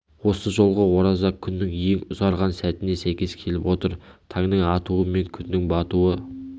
осы жолғы ораза күннің ең ұзарған сәтіне сәйкес келіп отыр таңның атуы мен күннің батуы